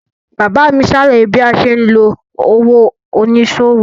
Bàbá mi ṣàlàyé bí a ṣe ń lo òwò oníṣòwò.